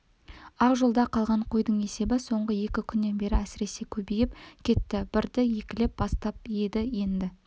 ал жолда қалған қойдың есебі соңғы екі күннен бері әсіресе көбейіп кетті бірді-екілеп бастап еді енді